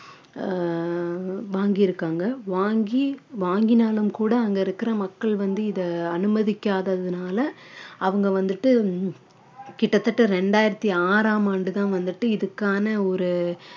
அஹ் வாங்கி இருக்காங்க வாங்கி வாங்கினாலும் கூட அங்க இருக்கிற மக்கள் வந்து இதை அனுமதிக்காததுனால அவங்க வந்துட்டு கிட்டத்தட்ட இரண்டாயிரத்தி ஆறாம் ஆண்டுதான் வந்துட்டு இதுக்கான ஒரு